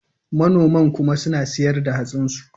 Manoman kuma suna ciyar da hatsinsu.